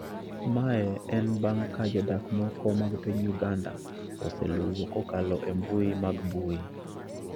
Mae en bang’ ka jodak moko mag piny Uganda oseluwo kokalo e mbui mag mbui